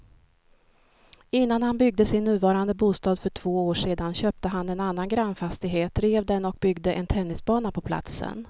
Innan han byggde sin nuvarande bostad för två år sedan köpte han en annan grannfastighet, rev den och byggde en tennisbana på platsen.